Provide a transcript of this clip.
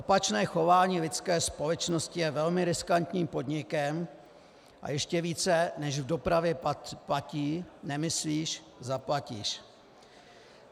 Opačné chování lidské společnosti je velmi riskantním podnikem a ještě více než v dopravě platí "nemyslíš, zaplatíš".